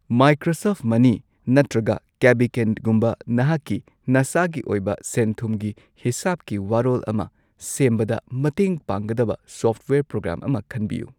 Microsoft ꯃꯅꯤ ꯅꯠꯇ꯭ꯔꯒ ꯀꯦꯕꯤꯀꯦꯟꯒꯨꯝꯕ ꯅꯍꯥꯛꯀꯤ ꯅꯁꯥꯒꯤ ꯑꯣꯏꯕ ꯁꯦꯟꯊꯨꯝꯒꯤ ꯍꯤꯁꯥꯚꯀꯤ ꯋꯥꯔꯣꯜ ꯑꯃ ꯁꯦꯝꯕꯗ ꯃꯇꯦꯡ ꯄꯥꯡꯒꯗꯕ ꯁꯣꯐꯋꯥꯌꯔ ꯄ꯭ꯔꯣꯒ꯭ꯔꯥꯝ ꯑꯃ ꯈꯟꯕꯤꯌꯨ꯫